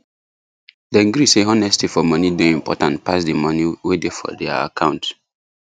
dem gree say honesty for money day important pass the money way day for their account